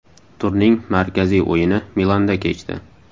Turning markaziy o‘yini Milanda kechdi.